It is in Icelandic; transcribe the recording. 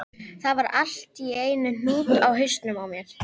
Það var allt í einum hnút í hausnum á mér.